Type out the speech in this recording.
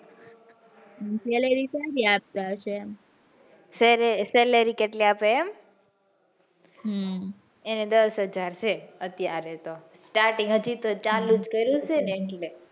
sallary સારી આપતી હશે એમ salary કેટલી આપે છે એમ હમ એને દસહજાર છે અત્યારે તો starting હજુ તો ચાલુ જ કર્યું છે ને,